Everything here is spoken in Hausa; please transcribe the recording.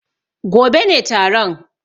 Gobe ne taron.